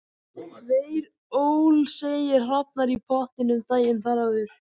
Tveir ólseigir hrafnar í pottinum daginn þar áður.